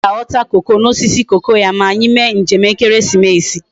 Nna m ka aghota cocoa na osisi cocoa ya ma anyi mee njem ekeresimesi